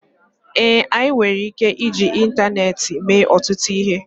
ee, anyị nwere ike iji ịntaneetị mee ọtụtụ ihe